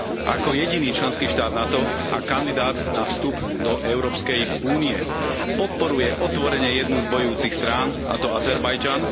Ako jediný členský štát NATO a kandidát na vstup do Európskej únie podporuje otvorene jednu z bojujúcich strán, a to Azerbajdžan.